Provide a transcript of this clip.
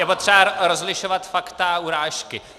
Je potřeba rozlišovat fakta a urážky.